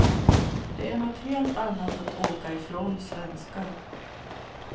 Det är något helt annat att åka ifrån svenskar.